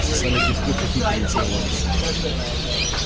сосали пивко хихикали и целовались